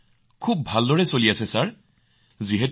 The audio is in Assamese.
এই কাম খুব ভালদৰে চলি আছে মহোদয়